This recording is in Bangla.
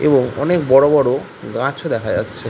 এবং অনেক বড়ো বড়োগাছও দেখা যাচ্ছে।